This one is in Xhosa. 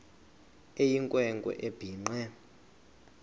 eyinkwe nkwe ebhinqe